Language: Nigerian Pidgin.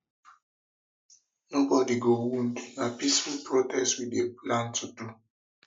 nobodi go wound na peaceful protest we dey plan to do